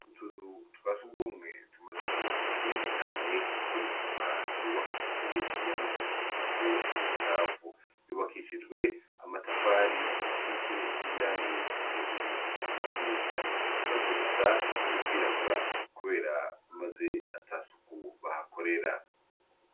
Utuzu twa surwumwe tumaze igihe kinini cane, kuko n'isima yubakishijwe yamaze kuzanako ubucafu. Yubakishijwe amatafari, isize n'irangi hejuru ku madirisha. Tumaze gusa no kwirabura kubera maze ata suku bahakorera.